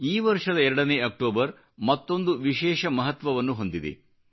ಈ ವರ್ಷದ 2 ನೇ ಅಕ್ಟೋಬರ್ ಮತ್ತೊಂದು ವಿಶೇಷ ಮಹತ್ವವನ್ನು ಹೊಂದಿದೆ